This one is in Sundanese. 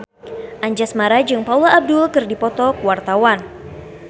Anjasmara jeung Paula Abdul keur dipoto ku wartawan